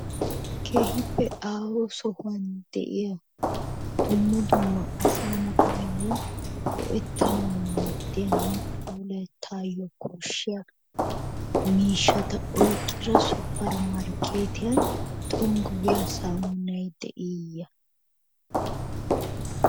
Keehippe aaho sohuwan de'iya dumma dumma asaa na'ayoo go'etanawu maadiyanne deetaayo koshiya miishata oyqqida supermarkeetiyan tonggu giyaa saamunay de'iiyee?